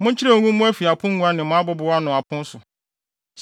Monkyerɛw ngu mo afi apongua ne mo abobow ano apon so,